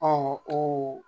koo